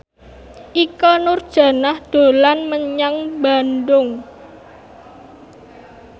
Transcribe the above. Ikke Nurjanah dolan menyang Bandung